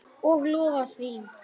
Og lofaði því.